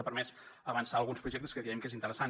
ha permès avançar alguns projectes que creiem que és interessant